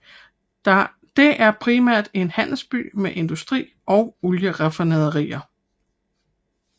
Det er primært en handelsby med industri og olieraffinaderier